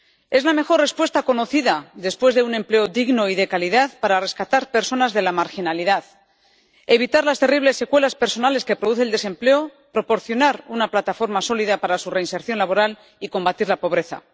Es la mejor respuesta conocida, después de un empleo digno y de calidad, para rescatar a las personas de la marginalidad, evitar las terribles secuelas personales que produce el desempleo, proporcionar una plataforma sólida para su reinserción laboral y combatir la pobreza.